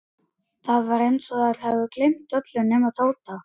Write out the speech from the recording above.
Það var eins og þær hefðu gleymt öllu nema Tóta.